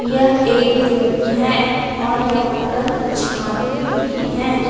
यह एक रूम है और यहां पर कुछ आदमी भी है।